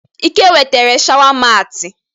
Ike wetere sháwà matị.